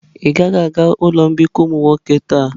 Ị gaghị aga ụlọ mbikọ ụmụ nwoke taa.